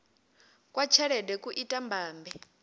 kwa tshelede ku ita mbambe